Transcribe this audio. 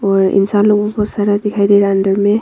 और इंसान लोगों को सारा दिखाई दे रहा है अंदर मे--